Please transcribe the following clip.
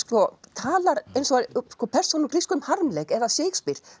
talar eins og persóna úr grískum harmleik eða Shakespeare